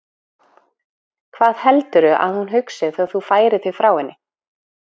Hvað heldurðu að hún hugsi þegar þú færir þig frá henni?